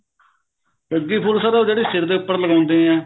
ਸੱਗੀ ਫੁੱਲ ਸਰ ਉਹ ਜਿਹੜੀ sir ਦੇ ਉੱਪਰ ਲਗਾਉਂਦੇ ਹਾਂ